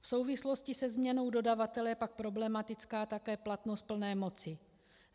V souvislosti se změnou dodavatele je pak problematická také platnost plné moci.